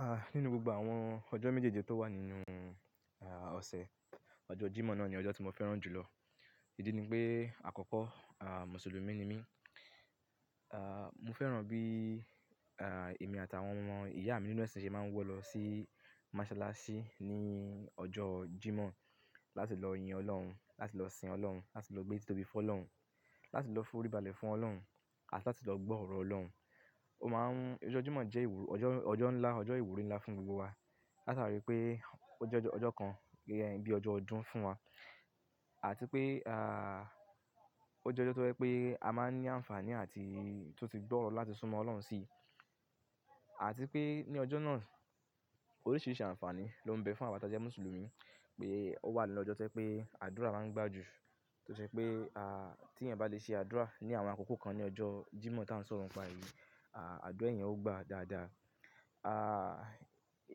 Ah! Nínú gbogbo àwọn ọjọ́ méjèèje tó wà nínú ah ọ̀sẹ̀, ọjọ́ Jímọ̀ náà ni ọjọ́ tí mo fẹ́ràn jù lọ. Ìdí ni pé àkọ́kọ́ ah Mùsùlùmí ni mí. Ah mo fẹ́ràn bí èmi àti àwọn ọmọ ìyá mi nínú ẹ̀sìn ṣe máa ń wọ lọ sí mọ́sálásí ní ọjọ́ Jímọ̀ láti lọ yin Ọlọ́run, láti lọ sìn Ọlọ́run, láti lọ gbé títobi fún Ọlọ́run, láti lọ foríbalẹ̀ fún Ọlọ́run àti láti lọ gbọ́ ọ̀rọ̀ Ọlọ́run. Ó máa ń ọjọ́ Jímọ̀ jẹ́ ìwúru-- ọjọ́, ọjọ́ ńlá, ọjọ́ ìwúrí ńlá fún gbogbo wa. Látàrí pé ó jẹ́ ọjọ́ kan bí ọjọ́ ọdún fún wa àti pé ah ó jẹ́ ọjọ́ tó jẹ pé a máa ń ní àǹfààní àti tun ti gbọ́rọ̀ láti súnmọ́ Ọlọ́run sí. Àti pé ní ọjọ́ náà, oríṣìíríṣìí àǹfààní ló ń bẹ fún àwa tí a jẹ́ Mùsùlùmí pé ó wà nínu ọjọ́ tó jẹ pé àdúrà máa ń gbà jù. Tó ṣe pé a tí ẹ̀yan bá le ṣe àdúrà ní àwọn àkókò kan ní ọjọ́ Jímọ̀ tan ń sọ̀rọ̀ ńi pa yìí, àdúrà eyan o gba dáadáa. Ah!